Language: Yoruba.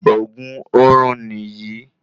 Òògùn orun ní yí